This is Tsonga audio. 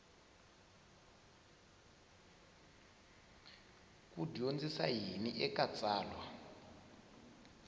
ku dyondzisa yini eka tsalwa